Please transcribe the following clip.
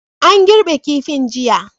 An girbe kifin jiya.